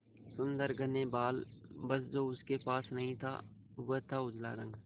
सुंदर घने बाल बस जो उसके पास नहीं था वह था उजला रंग